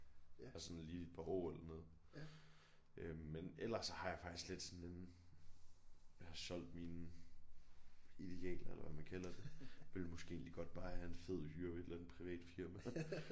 Og sådan lige et par år eller noget øh men ellers så har jeg faktisk lidt sådan en jeg har solgt mine idealer eller hvad man kalder det ville måske egentlig godt bare have en fed hyre ved et eller andet privat firma